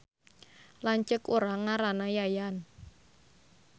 Lanceuk urang ngaranna Yayan